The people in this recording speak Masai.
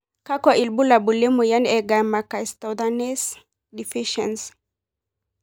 kakwa ibulabul le moyian e Gamma cystathionase deficiency.